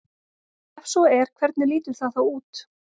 Ef svo er hvernig lítur það þá út?